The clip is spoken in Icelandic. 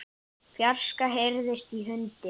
fjarska heyrist í hundi.